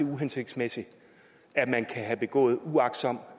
er uhensigtsmæssigt at man kan have begået uagtsomt